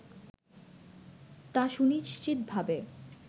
তা সুনিশ্চিতভাবে